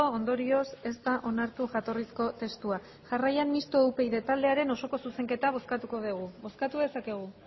ondorioz ez da onartu jatorrizko testua jarraian mistoa upyd taldearen osoko zuzenketa bozkatuko dugu bozkatu dezakegu